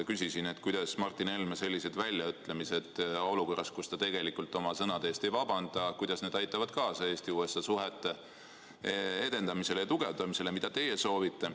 Küsisin, kuidas Martin Helme sellised väljaütlemised olukorras, kus ta tegelikult oma sõnade eest ei vabanda, aitavad kaasa Eesti-USA suhete edendamisele ja tugevdamisele, mida teie soovite.